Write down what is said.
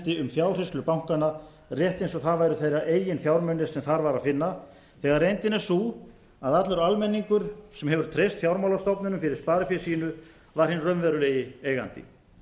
ránshendi um fjárhirslur bankanna rétt eins og það væru þeirra eigin fjármunir sem þar var að finna þegar reyndin er sú að allur almenningur sem hefur treyst fjármálastofnunum fyrir sparifé sínu var hinn raunverulegi eigandi